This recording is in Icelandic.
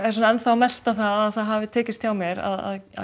melta það að það hafi tekist hjá mér að